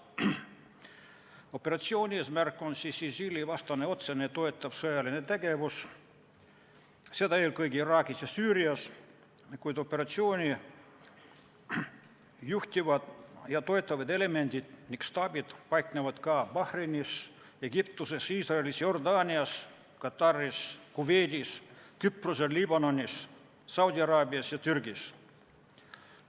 Operatsiooni eesmärk on ISIL-i vastane otsene toetav sõjaline tegevus, seda eelkõige Iraagis ja Süürias, kuid operatsiooni juhtivad ja toetavad elemendid ja staabid paiknevad ka Bahreinis, Egiptuses, Iisraelis, Jordaanias, Kataris, Kuveidis, Küprosel, Liibanonis, Saudi-Araabias ja Türgis.